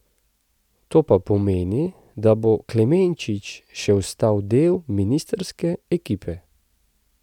To pa pomeni, da bo Klemenčič še ostal del ministrske ekipe.